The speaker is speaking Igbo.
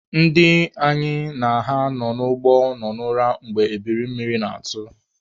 Ndị anyị na ha nọ n'ụgbọ nọ n'ura mgbe ebiri mmiri na-atụ.